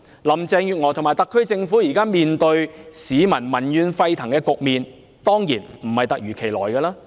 林鄭月娥及特區政府目前面對民怨沸騰的局面，當然並非突如其來。